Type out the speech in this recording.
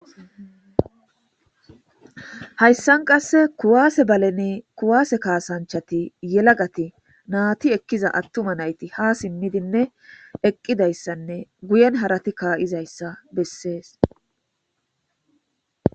Hayssan qasse kuwaase balene kuwaase kaasanchati yelagati naati ekkiza attuma nayti ha simmidinne eqqidayssanne guyen harati kaayizayssa bessees.